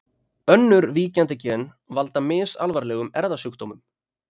önnur víkjandi gen valda misalvarlegum erfðasjúkdómum